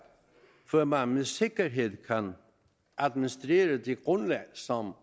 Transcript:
før man med sikkerhed kan administrere det grundlag som